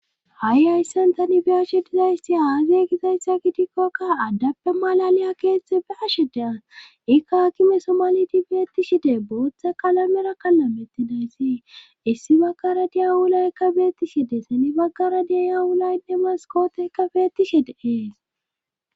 ha7i ayssan tani bi ashe dizaysti haaze gizayssa gidikkokka addappe malaliya keeththe be ashe dea ikka akime somali di beetti shide booththa kalamera kallamettidayssi issi baggara diyawulaykka beetti shide seni baggara diyawulaynne maskooteka beetti shide ees